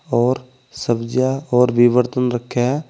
और सब्जियां और भी बर्तन रखे हैं।